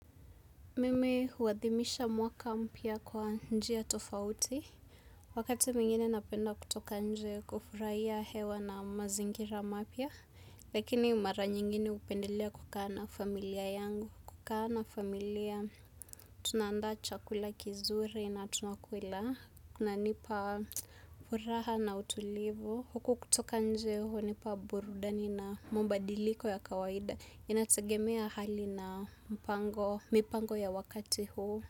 Mimi huadhimisha mwaka mpya kwa njia tofauti. Wakati mwingine napenda kutoka nje kufurahia hewa na mazingira mapya. Lakini mara nyingine hupendelea kukaa na familia yangu. Kukaa na familia tunaandaa chakula kizuri na tunakula. Kuna nipa furaha na utulivu. Huku kutoka nje hunipa burudani na mabadiliko ya kawaida. Inategemea hali na mipango ya wakati huu.